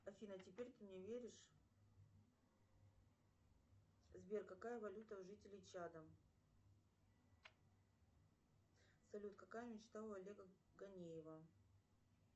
афина а теперь ты мне веришь сбер какая валюта у жителей чада салют какая мечта у олега ганеева